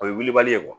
O ye wilibali ye